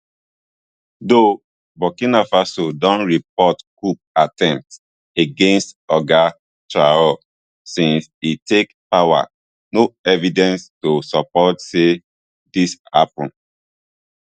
though burkina faso don report coup attempts against oga traor since e take power no evidence to support say dis happun